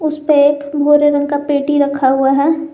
उसपे एक भूरे रंग का पेटी रखा हुआ है।